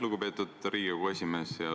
Lugupeetud Riigikogu esimees!